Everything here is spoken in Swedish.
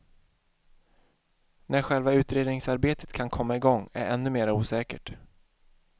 När själva utredningsarbetet kan komma igång är ännu mera osäkert.